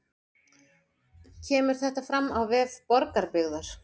Kemur þetta fram á vef Borgarbyggðar